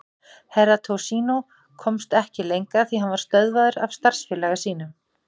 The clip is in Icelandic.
Herra Toshizo komst ekki lengra því hann var stöðvaður af starfsfélaga sínum.